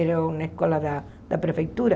Era uma escola da da prefeitura.